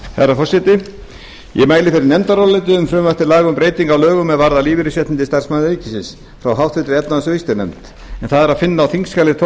herra forseti ég mæli fyrir nefndaráliti um frumvarp til laga um breytingu á lögum er varða lífeyrisréttindi starfsmanna ríkisins frá háttvirtri efnahags og viðskiptanefnd en það er að finna á þingskjali tólf